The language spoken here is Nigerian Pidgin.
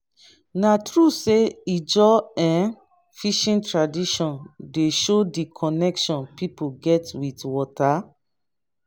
na true sey ijaw um fishing traditions dey show di connection pipo get wit water?